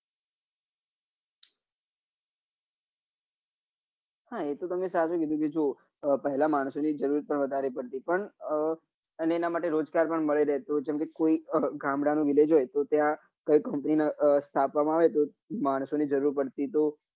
હા એ તો તમે સાચું કીધું કે જો પહેલા માણસો ની જરૂર વધારે પડતી પણ અને એના માટે રોજગાર પણ મળી રહેતું જેમ કે કોઈ ગામડા નું village હોય તો ત્યાં કોઈ company સ્થાપવા માં આવે તો માણસો ની જરૂર પડતી